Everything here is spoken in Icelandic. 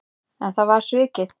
En það var svikið.